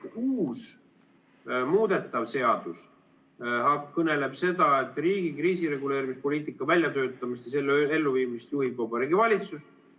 Uus, muudetav seadus kõneleb seda, et riigi kriisireguleerimispoliitika väljatöötamist ja selle elluviimist juhib Vabariigi Valitsus.